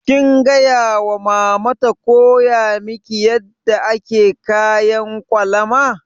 Kin gaya wa mama ta koya miki yadda ake kayan ƙwalama?